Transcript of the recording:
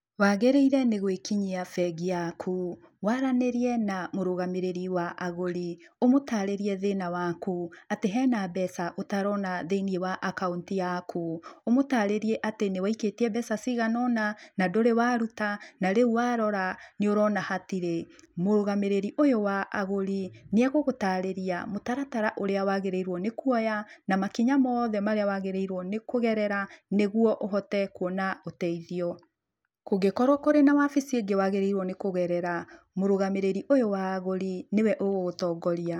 Wagĩrĩire nĩ gwĩkinyia bengi yaku, waranĩrie na mũrũgamĩrĩri wa agũri, ũmũtarĩrie thĩna waku, atĩ hena mbeca ũtarona thĩinĩ wa akaunti yaku. Ũmũtarĩrie atĩ nĩ waikĩtie mbeca cigana ũna na ndũrĩ waruta, na rĩu warora nĩ ũrona hatirĩ. Mũrũgamĩrĩri ũyũ wa agũri nĩ egũgũtarĩria mũtaratara ũrĩa wagĩrĩirwo nĩ kuoya na makinya mothe marĩa wagĩrĩirwo nĩ kũgerera nĩguo ũhote kuona ũteithio. Kũngĩkorwo kũrĩ na wabici ĩngĩ wagĩrĩirwo nĩ kũgerera, mũrũgamĩrĩri ũyũ wa agũri nĩwe ũgũgũtongoria.